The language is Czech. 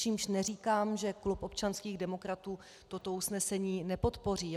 Čímž neříkám, že klub občanských demokratů toto usnesení nepodpoří.